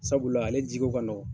Sabula ale jiko ka nɔgɔn.